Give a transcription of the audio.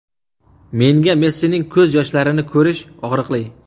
Menga Messining ko‘z yoshlarini ko‘rish og‘riqli.